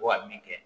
Ko ka min kɛ